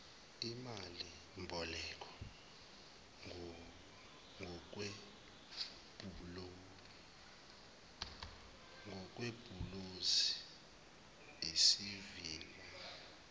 imalimboleko ngokwebhulonzi isiliva